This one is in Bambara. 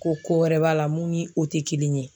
Ko ko wɛrɛ b'a la mun ni o tɛ kelen ye.